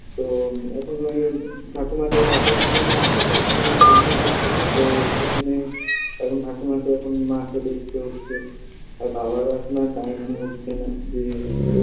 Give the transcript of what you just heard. তো এখন এই ঠাকুমাকে দেখার জন্য আগেতো ঠাকুমাকে আমিই দেখতাম তো সেখানে এখন ঠাকুমাকে এখন মাকে দেখতে হচ্ছে আর বাবারও এখন আর time হয়ে উঠছে না যে